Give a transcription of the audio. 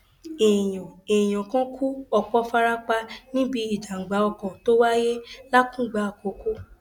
èèyàn èèyàn kan kú ọpọ fara pa níbi ìjàgbá ọkọ tó wáyé làkùngbà àkọkọ